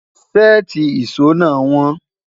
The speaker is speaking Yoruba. séèti ìsọ nà won